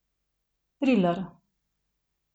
Triler.